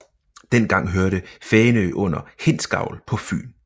Dengang hørte Fænø under Hindsgavl på Fyn